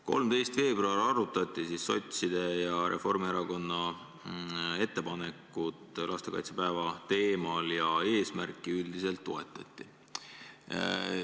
13. veebruaril arutati sotside ja Reformierakonna ettepanekut lastekaitsepäeva teemal ja eesmärki üldiselt toetati.